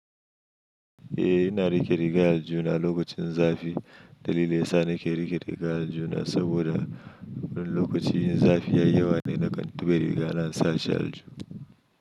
Eh, yana riƙe riga aljihuna lokacin zafi. Dalilin sa nake riƙe riga aljihuna saboda lokacin zafi yai yawa ne na kan tuɓe riga na sa shi alju.